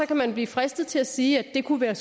kan man blive fristet til at sige at det kunne være